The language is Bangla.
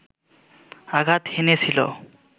আঘাত হেনেছিল